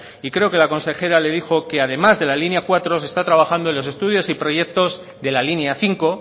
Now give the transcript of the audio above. y creo que la consejera le dijo que además de la línea cuatro se está trabajando en los estudios y proyectos de la línea cinco